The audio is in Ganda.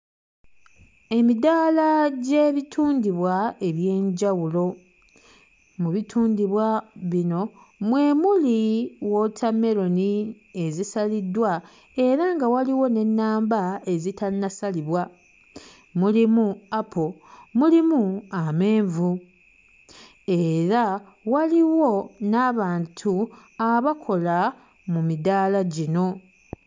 Emidaala gy'ebitundibwa eby'enjawulo. Mu bitundibwa bino mwe muli wootammeroni ezisaliddwa era nga waliwo n'ennamba ezitannasalibwa, mulimu apo mulimu amenvu era waliwo n'abantu abakola mu midaala gino.